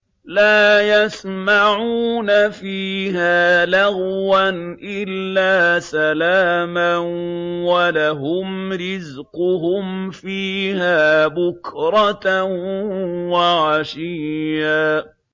لَّا يَسْمَعُونَ فِيهَا لَغْوًا إِلَّا سَلَامًا ۖ وَلَهُمْ رِزْقُهُمْ فِيهَا بُكْرَةً وَعَشِيًّا